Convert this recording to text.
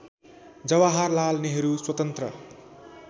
जवाहरलाल नेहरू स्वतन्त्र